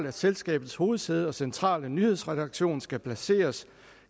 at selskabets hovedsæde og centrale nyhedsredaktion skal placeres